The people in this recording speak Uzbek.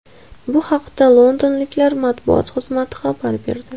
Bu haqda londonliklar matbuot xizmati xabar berdi .